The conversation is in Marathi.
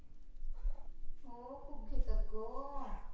हो खूप घेतात गं.